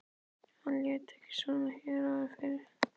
Hann lét ekki svona hér áður fyrr.